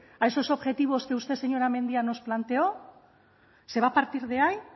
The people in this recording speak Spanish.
a esos objetivos que usted señora mendia nos planteó se va a partir de ahí